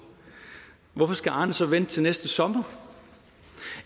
hvorfor skal arne så vente til næste sommer